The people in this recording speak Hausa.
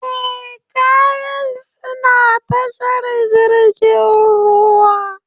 Eh, kayan suna tashar jirgin ruwan.